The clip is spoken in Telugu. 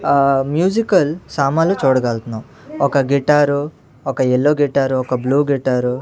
అహ్ మ్యూజికల్ సామాన్లు చూడగల్తున్నాం ఒక గిటారు ఒక ఎల్లో గిటారు ఒక బ్లూ గిటారు .